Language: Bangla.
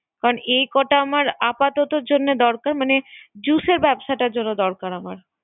আর এ কটা আপাততের জন্য দরকরা, মানে জুসের ব্যবসাটার দরকার আমার